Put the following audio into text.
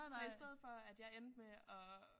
Så i stedet for at jeg endte med at